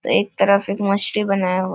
एक तरफ एक मछली बनाया हुआ --